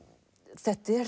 þetta er